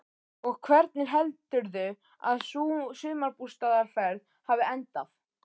Og hvernig heldurðu að sú sumarbústaðarferð hafi endað?